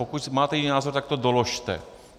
Pokud máte jiný názor, tak to doložte.